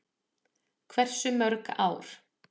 Hversu mörg ár?